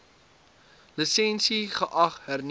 lisensie geag hernu